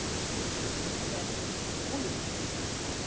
Stærsti munurinn er úniformið.